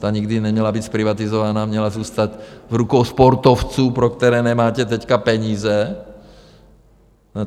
Ta nikdy neměla být zprivatizovaná, měla zůstat v rukou sportovců, pro které nemáte teď peníze.